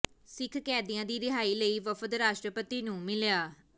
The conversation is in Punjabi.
ਸਿੱਖ ਕੈਦੀਆਂ ਦੀ ਰਿਹਾਈ ਲਈ ਵਫ਼ਦ ਰਾਸ਼ਟਰਪਤੀ ਨੂੰ ਮਿਲਿਆ